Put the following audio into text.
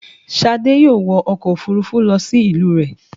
Ṣadé yóò wọ ọkọ̀ òfúrufú lọ sí ìlú rẹ̀